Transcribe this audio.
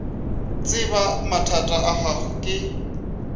tseba mathata a gago ke